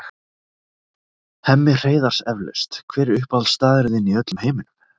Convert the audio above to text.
Hemmi Hreiðars eflaust Hver er uppáhaldsstaðurinn þinn í öllum heiminum?